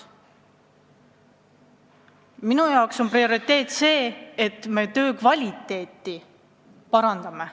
Minu jaoks on prioriteet see, et töö kvaliteet peab paranema.